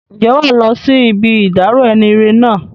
Ǹjẹ́ wàá lọ sí ibi ìdárò enire náà?